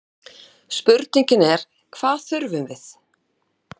Spurningin er hvað þurfum við?